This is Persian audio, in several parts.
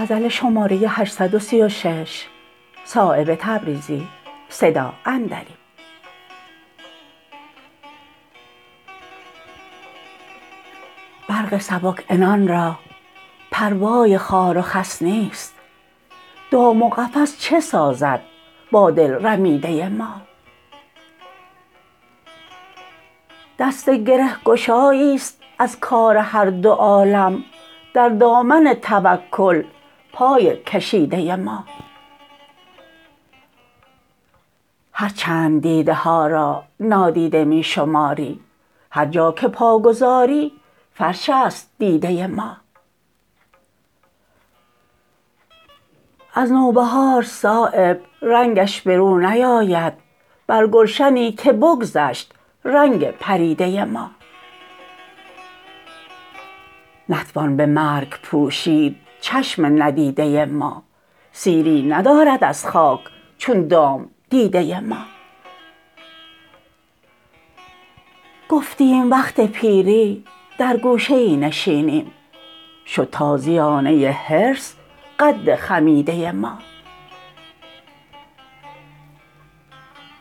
برق سبک عنان را پروای خار و خس نیست دام و قفس چه سازد با دل رمیده ما دست گرهگشایی است از کار هر دو عالم در دامن توکل پای کشیده ما هر چند دیده ها را نادیده می شماری هر جا که پا گذاری فرش است دیده ما از نوبهار صایب رنگش به رو نیاید بر گلشنی که بگذشت رنگ پریده ما نتوان به مرگ پوشید چشم ندیده ما سیری ندارد از خاک چون دام دیده ما گفتیم وقت پیری در گوشه ای نشینیم شد تازیانه حرص قد خمیده ما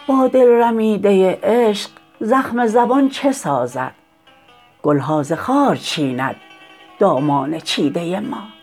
با دل رمیده عشق زخم زبان چه سازد گلها ز خار چیند دامان چیده ما